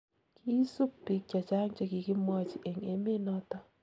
kiisub biik che chang che kikimwochi eng emet noto